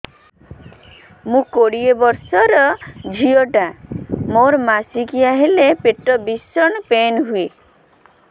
ମୁ କୋଡ଼ିଏ ବର୍ଷର ଝିଅ ଟା ମୋର ମାସିକିଆ ହେଲେ ପେଟ ଭୀଷଣ ପେନ ହୁଏ